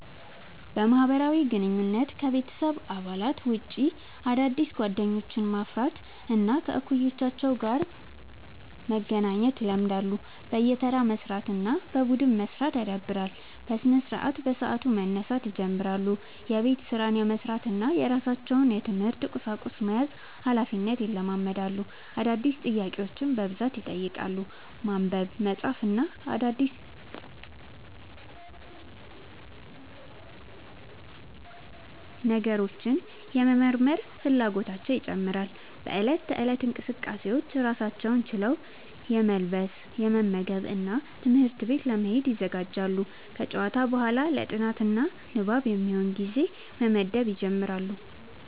በማህበራዊ ግንኙነት: ከቤተሰብ አባላት ውጭ አዳዲስ ጓደኞችን ማፍራት እና ከእኩዮቻቸው ጋር መገናኘት ይለምዳሉ። በየተራ መስራት እና በቡድን መስራት ያዳብራሉ። በስነስርዓት : በሰዓቱ መነሳት ይጀምራሉ። የቤት ስራን የመስራት እና የራሳቸውን የትምህርት ቁሳቁስ መያዝ ሀላፊነትን ይለማመዳሉ። አዳዲስ ጥያቄዎችን በብዛት ይጠይቃሉ። ማንበብ፣ መጻፍ እና አዳዲስ ነገሮችን የመመርመር ፍላጎታቸው ይጨምራል።. በእለት ተእለት እንቅስቃሴዎች: ራሳቸውን ችለው የመልበስ፣ የመመገብ እና ትምህርት ቤት ለመሄድ ይዘጋጃሉ። ከጨዋታ በኋላ ለ ጥናት እና ንባብ የሚሆን ጊዜ መመደብ ይጀምራሉ።